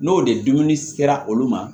N'o de dumuni sera olu ma